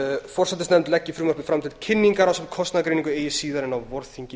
forsætisnefnd leggi frumvarpið fram til kynningar ásamt kostnaðargreiningu eigi síðar en á vorþingi